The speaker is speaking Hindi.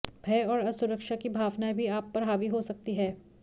भय और असुरक्षा की भावनाएं भी आप पर हावी हो सकती है